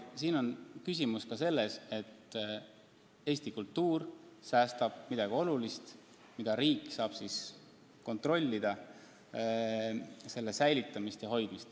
Siin on küsimus ka selles, et riik päästab midagi Eesti kultuuri jaoks väga olulist, saades selle hoidmist kontrollida.